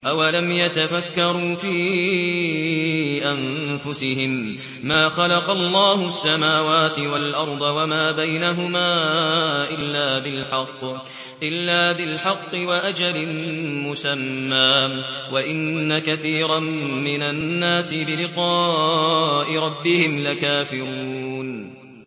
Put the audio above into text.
أَوَلَمْ يَتَفَكَّرُوا فِي أَنفُسِهِم ۗ مَّا خَلَقَ اللَّهُ السَّمَاوَاتِ وَالْأَرْضَ وَمَا بَيْنَهُمَا إِلَّا بِالْحَقِّ وَأَجَلٍ مُّسَمًّى ۗ وَإِنَّ كَثِيرًا مِّنَ النَّاسِ بِلِقَاءِ رَبِّهِمْ لَكَافِرُونَ